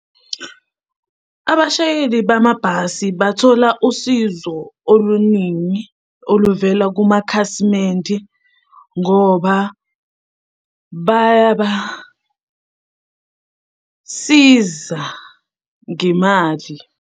Abashayeli bamabhasi bathola usizo oluningi oluvela kumakhasimende ngoba bayabasiza ngemali.